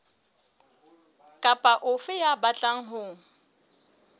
kapa ofe ya batlang ho